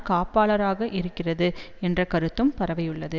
காப்பாளராக இருக்கிறது என்ற கருத்தும் பரவியுள்ளது